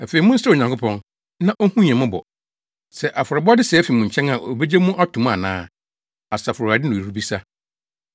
“Afei monsrɛ Onyankopɔn, na onhu yɛn mmɔbɔ. Sɛ afɔrebɔde sɛɛ fi mo nkyɛn a obegye mo ato mu ana?” Asafo Awurade na ɔrebisa.